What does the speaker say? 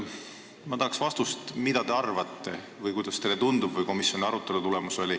Ma tahaks teada, mida te arvate või kuidas teile tundub või mis oli komisjoni arutelu tulemus.